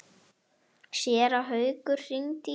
Séra Haukur hringdi í mig.